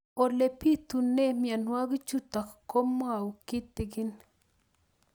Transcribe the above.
Ole pitune mionwek chutok ko kimwau kitig'ín